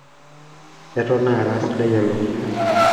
eton ara sidai elukunya